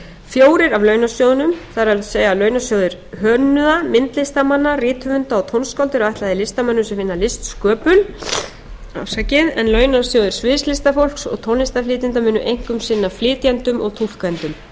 fjórir af launasjóðunum það er launasjóður hönnuða myndlistarmanna rithöfunda og tónskálda eru ætlaðir listamönnum sem vinna að listsköpun en launasjóðir sviðslistafólks og tónlistarflytjenda munu einkum sinna flytjendum og túlkendum